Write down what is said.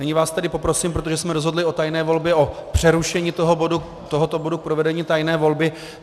Nyní vás tedy poprosím, protože jsme rozhodli o tajné volbě, o přerušení tohoto bodu k provedení tajné volby.